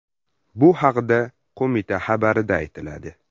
Bu haqda qo‘mita xabarida aytiladi .